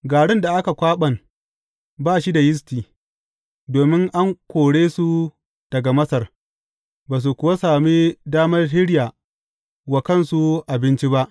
Garin da aka kwaɓan ba shi da yisti, domin an kore su daga Masar, ba su kuwa sami damar shirya wa kansu abinci ba.